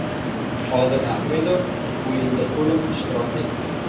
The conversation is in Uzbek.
Odil Ahmedov o‘yinda to‘liq ishtirok etdi.